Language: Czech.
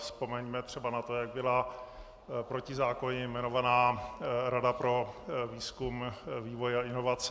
Vzpomeňme třeba na to, jak byla protizákonně jmenována Rada pro výzkum, vývoj a inovace.